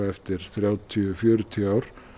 eftir þrjátíu til fjörutíu ár